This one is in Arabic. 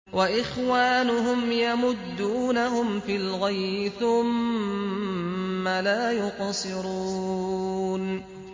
وَإِخْوَانُهُمْ يَمُدُّونَهُمْ فِي الْغَيِّ ثُمَّ لَا يُقْصِرُونَ